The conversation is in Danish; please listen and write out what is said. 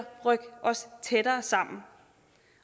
rykke os tættere sammen